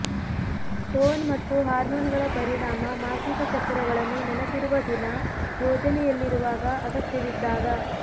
tone ಮತ್ತು ಹಾರ್ಮೋನ್ಗಳ ಪರಿಣಾಮ ಮಾಸಿಕ ಚಕ್ರಗಳನ್ನು ನೆನಪಿಡುವ ದಿನ ಯೋಜನೆಯಲ್ಲಿರುವಾಗ ಅಗತ್ಯವಿದ್ದಾಗ